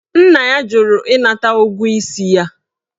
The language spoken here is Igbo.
Nna ya jụrụ ịnata ụgwọ isi ya.